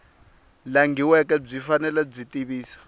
langhiweke byi fanele byi tivisa